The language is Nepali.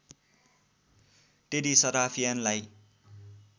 टेडी सराफियनलाई